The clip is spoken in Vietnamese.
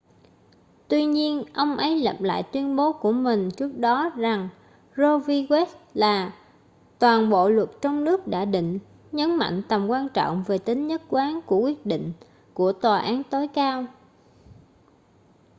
tuy nhiên ông ấy lập lại tuyên bố của mình trước đó rằng roe v wade là toàn bộ luật trong nước đã định nhấn mạnh tầm quan trọng về tính nhất quán của quyết định của tòa án tối cao